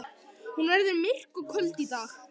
Hún verður myrk og köld í dag.